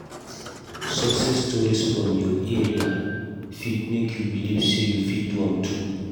Success stories from your area fit make you believe say you fit do am too.